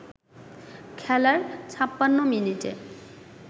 খেলার ৫৬ মিনিটে